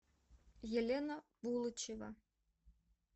елена булычева